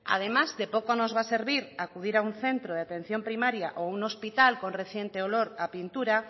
además de poco nos va a servir acudir a un centro de atención primaria o a un hospital con reciente olor a pintura